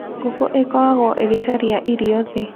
Ngũkũ ĩkoragwo ĩgĩcaria irio thĩ.